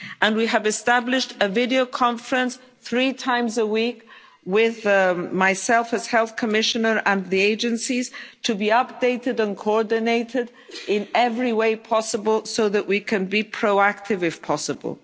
Agency. We have established a video conference three times a week with myself, as Health Commissioner, and the Agencies, to be updated and coordinated in every way possible so that we can be proactive if possible.